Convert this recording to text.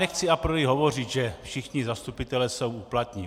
Nechci a priori hovořit, že všichni zastupitelé jsou úplatní.